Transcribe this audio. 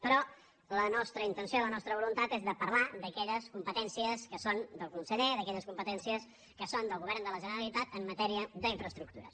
però la nostra intenció i la nostra voluntat és de parlar d’aquelles competències que són del conseller d’aquelles competències que són del govern de la generalitat en matèria d’infraestructures